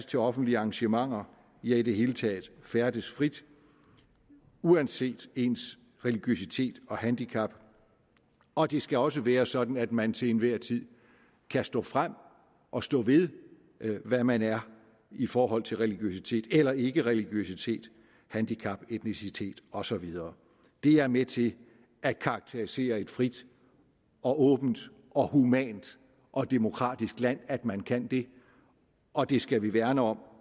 til offentlige arrangementer ja i det hele taget færdes frit uanset ens religiøsitet og handicap og det skal også være sådan at man til enhver tid kan stå frem og stå ved hvad man er i forhold til religiøsitet eller ikkereligiøsitet handicap etnicitet og så videre det er med til at karakterisere et frit og åbent og humant og demokratisk land at man kan det og det skal vi værne om